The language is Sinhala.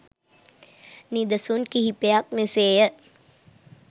නිදසුන් කිහිපයක් මෙසේ ය.